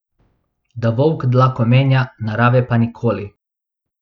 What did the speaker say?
Da volk dlako menja, narave pa nikoli.